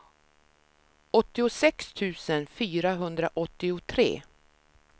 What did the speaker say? åttiosex tusen fyrahundraåttiotre